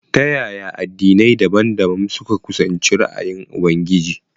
Ta yaya addinai dabam-dabam suka kusanci ra’ayin Ubangiji?